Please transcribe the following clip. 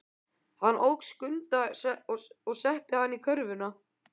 Hann tók Skunda og setti hann í körfuna.